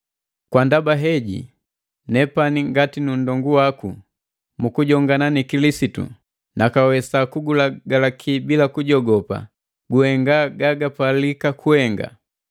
Kwa ndaba heji nepani ngati nu nndongu waku mu kujongana ni Kilisitu, nakawesa kugulagaki sanga kujogopa guhenga gagapalika kugahenga.